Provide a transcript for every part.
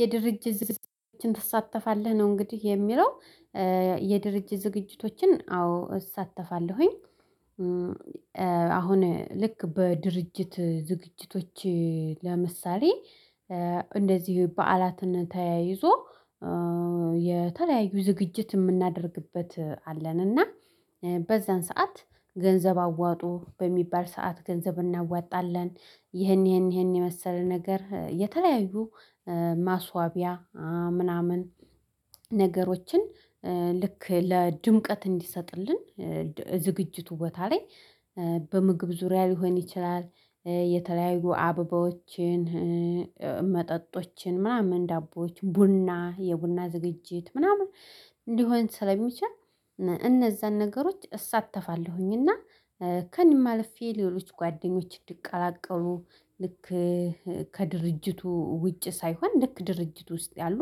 የድርጅት ዝግጅቶችን ትሳተፋለህ ነው እንግዲህ የሚለው የድርጅት ዝግጅቶችን አዎ እሳተፋለሁኝ። አሁን ልክ በድርጅት ዝግጅቶች ለምሳሌ እንደዚህ በዓላትን ተያይዞ የተለያዩ ዝግጅት የምናደርግበት አለን። እና በዛን ሰዓት ገንዘብ አዋጡ በሚባል ሰዓት ገንዘብ እናወጣለን ይሄን ይሄን ይሄን የመሰለ ነገር የተለያዩ ማስዋቢያ ምናምን ነገሮችን ልክ ለድምቀት እንዲሰጥልን ዝግጅቱ ቦታ ላይ በምግብ ዙሪያ ሊሆን ይችላል። የተለያዩ አበባዎችን መጠጦችን ምናምን ዳቦዎች ቡና የቡና ዝግጅት ምናምን እንዲሆን ስለሚቻል እነዛን ነገሮች እሳተፋለሁኝ። እና ከእኔ አለፌ ሌሎች ጓደኞች እንድቀላቀሉ ልክ ከድርጅቱ ውጭ ሳይሆን ልክ ድርጅት ውስጥ ያሉ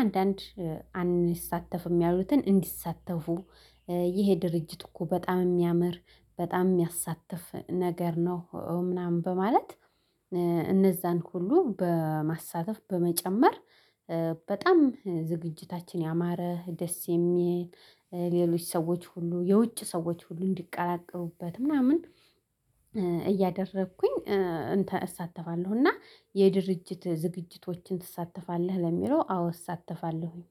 አንዳንድ አንይሳተፍም ያሉትን እንዲሳተፉ ይሄ ድርጅት እኮ በጣም የሚያምር በጣም የሚያሳትፍ ነገር ነው። ምናምን በማለት እነዛን ሁሉ በማሳተፍ በመጨመር በጣም ዝግጅታችን ያማረ ደስ የሚል ሌሎች ሰዎች ሁሉ የውጭ ሰዎች ሁሉ እንዲቀላቀሉበት ምናምን እያደረኩኝ እንተ እሳተፋለሁ። እና የድርጅት ዝግጅቶችን ትሳተፋለህ ለሚለው አዎ እሳተፋለሁኝ።